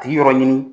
A tigi yɔrɔ ɲini